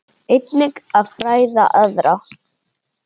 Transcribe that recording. Einnig að fræða aðra.